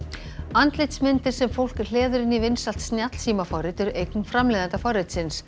andlitsmyndir sem fólk hleður inn í vinsælt snjallsímaforrit eru eign framleiðanda forritsins